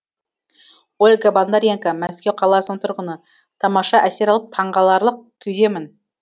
ольга бондаренко мәскеу қаласының тұрғыны тамаша әсер алып таңғаларлық күйдемін